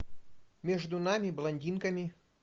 между нами блондинками